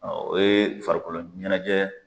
o ye farikolo ɲɛnajɛ